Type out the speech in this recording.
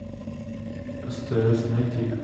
стс найти